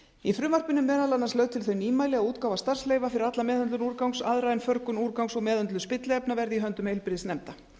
í frumvarpinu eru meðal annars lögð til þau nýmæli að útgáfa starfsleyfa fyrir alla meðhöndlun úrgangs aðra en förgun úrgangs og meðhöndlun spilliefna verði í höndum heilbrigðisnefnda